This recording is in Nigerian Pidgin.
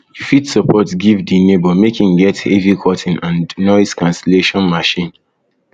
you fit suggest give di neighbor make im get heavy curtain and noise cancellation machine